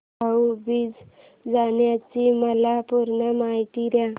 भाऊ बीज सणाची मला पूर्ण माहिती दे